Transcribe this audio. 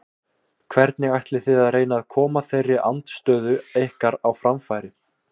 Hvernig ætlið þið að reyna að koma þeirri andstöðu ykkar á framfæri?